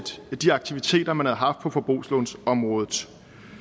de aktiviteter man havde haft på forbrugslånsområdet